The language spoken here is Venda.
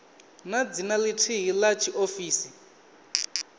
na dzina lithihi la tshiofisi